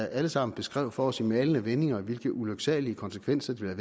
alle sammen beskrev for os i malende vendinger hvilke ulyksalige konsekvenser det ville